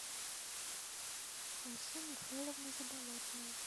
алсу михайловна заболотная